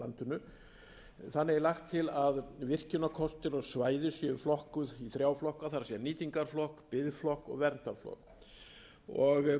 landinu þannig er lagt til að virkjunarkostir og svæði séu flokkuð í ár á flokka það er nýtingarflokk biðflokk og verndarflokk frumvarpið heimilar stjórnvöldum